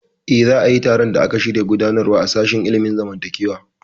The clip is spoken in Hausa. Eh, za a yi taron da aka shirya gudanarwa a sashen ilimin zamantakewa